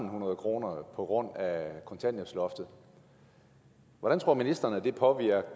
hundrede kroner på grund af kontanthjælpsloftet hvordan tror ministeren det påvirker